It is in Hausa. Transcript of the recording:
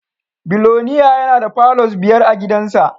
Biloniya yana da palours biyar a gidansa